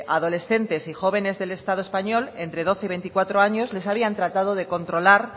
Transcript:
adolescentes y jóvenes del estado español entre doce y veinticuatro años les habían tratado de controlar